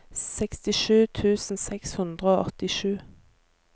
sekstisju tusen seks hundre og åttisju